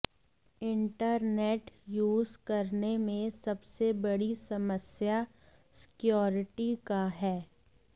internet use करने में सबसे बड़ी समस्या सिक्यूरिटी का है